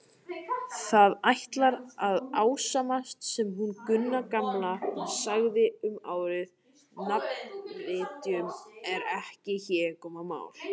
Það ætlar að ásannast sem hún Gunna gamla sagði um árið: nafnvitjun er ekkert hégómamál.